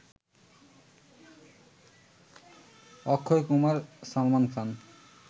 Akshay Kumar Salman Khan